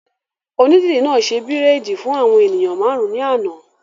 Onídìrí náà ṣe bírèèdì fún àwọn èèyàn máàrún ní àná